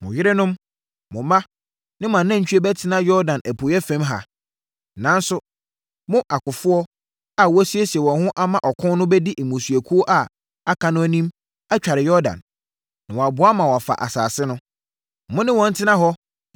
Mo yerenom, mo mma ne mo anantwie bɛtena Yordan apueeɛ fam ha. Nanso, mo akofoɔ a wɔasiesie wɔn ho ama ɔkɔ no bɛdi mmusuakuo a aka no anim atware Yordan, na wɔaboa ma wɔafa asase no. Mo ne wɔn ntena hɔ